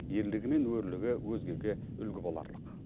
ерлігі мен өрлігі өзгеге үлгі боларлық